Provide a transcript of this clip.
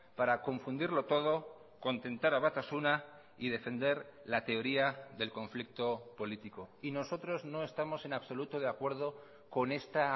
para confundirlo todo contentar a batasuna y defender la teoría del conflicto político y nosotros no estamos en absoluto de acuerdo con esta